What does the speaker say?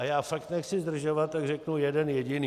A já fakt nechci zdržovat, tak řeknu jeden jediný.